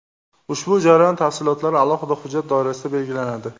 Ushbu jarayon tafsilotlari alohida hujjat doirasida belgilanadi.